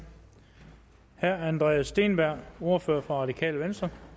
herre andreas steenberg ordfører for radikale venstre